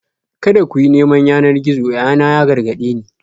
"Kada ku yi neman yanar gizo!" yayana ya gargade ni.